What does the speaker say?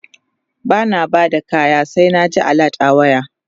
bana Bada kaya sai na ji alert a waya